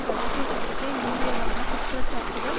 இரகசிய சட்டத்தை மீறியதான குற்றச்சாட்டுகள்